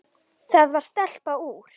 Það var stelpa úr